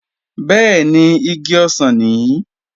Bẹ́ẹ̀ni, igi ọsàn nìí